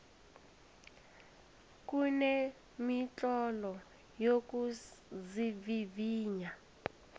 kunemitlolo yokuzivivinya